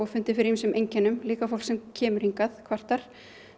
fundið fyrir ýmsum einkennum líka fólk sem kemur hingað kvartar